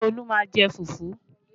Ṣé Olu má ń jẹ fufu?